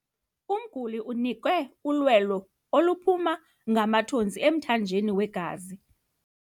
Umguli unikwe ulwelo oluphuma ngamathontsi emthanjeni wegazi.